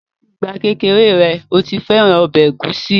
Láti ìgbà kékeré rẹ̀, ó ti fẹ́ràn ọbẹ̀ ẹ̀gúsí